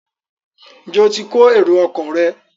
Njé o tí kò èrò ọkọ̀ rẹ?